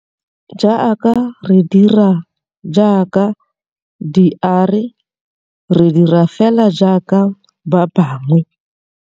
Jaaka re dira jaaka diARE re dira feela jaaka ba bangwe.